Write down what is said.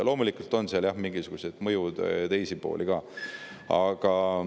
Loomulikult on seal, jah, mingisugused mõjud ja teisi pooli ka.